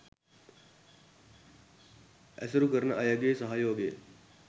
ඇසුරු කරන අයගේ සහයෝගය